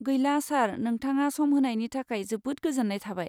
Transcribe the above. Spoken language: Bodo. गैला, सार। नोंथाङा सम होनायनि थाखाय जोबोद गोजोन्नाय थाबाय!